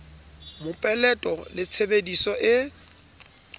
mopeleto le tshebe diso e